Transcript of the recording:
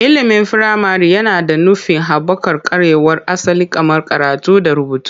Ilimin firamare yana da nufin haɓaka ƙwarewar asali kamar karatu da rubutu.